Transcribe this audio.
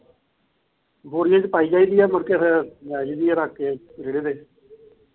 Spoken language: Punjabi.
ਬੋਰੀਆਂ ਚ ਪਾਈ ਜਾਈਦੀ ਆ ਮੁੜਕੇ ਫਿਰ ਲੈ ਜਾਈਦੀ ਰੱਖ ਕੇ ਰੇਹੜੇ ਤੇ